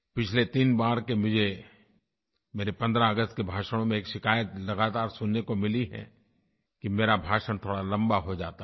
पिछले 3 बार के मुझे मेरे 15 अगस्त के भाषणों में एक शिकायत लगातार सुनने को मिली है कि मेरा भाषण थोड़ा लम्बा हो जाता है